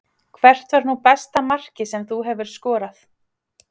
Hvert var nú besta markið sem þú hefur skorað?